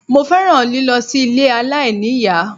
Mo fẹ́ràn lílọ sí ilé aláìníìyá